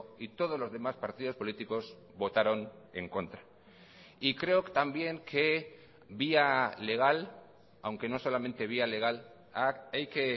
y todos los demás partidos políticos votaron en contra y creo también que vía legal aunque no solamente vía legal hay que